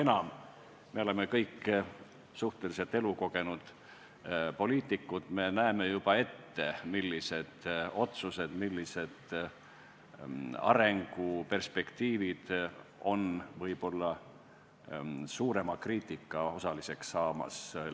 Seda enam, et oleme kõik suhteliselt elukogenud poliitikud, me näeme juba ette, millised otsused ja millised arenguperspektiivid võivad lähitulevikus võib-olla suurema kriitika osaliseks saada.